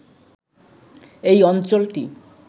এই অঞ্চলটি